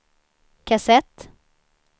kassett